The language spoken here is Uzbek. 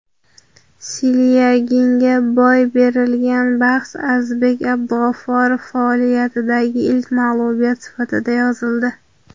Silyaginga boy berilgan bahs Azizbek Abdug‘ofurov faoliyatidagi ilk mag‘lubiyat sifatida yozildi.